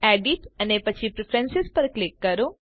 edit અને પછી preference પર ક્લિક કરો